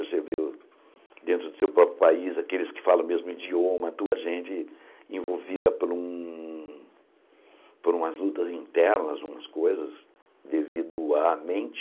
Você vê dentro do seu próprio país, aqueles que falam o mesmo idioma, a tua gente envolvida por um por umas lutas internas, umas coisas, devido à mente...